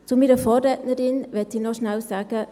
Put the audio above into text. Zu meiner Vorrednerin möchte ich noch kurz sagen: